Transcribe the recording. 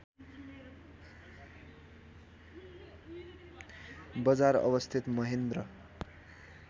बजार अवस्थित महेन्द्र